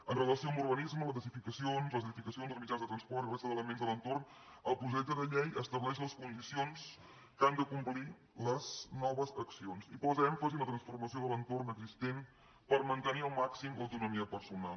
en relació amb l’urbanisme les edificacions els mitjans de transport i la resta d’elements de l’entorn el projecte de llei estableix les condicions que han de complir les noves accions i posa èmfasi en la transformació de l’entorn existent per mantenir al màxim l’autonomia personal